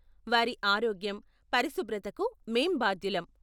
వారి ఆరోగ్యం, పరిశుభ్రతకు మేం బాధ్యులం.